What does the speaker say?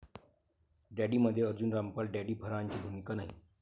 डॅडी'मध्ये Arjun Rampal Daddy, फरहानची भूमिका नाही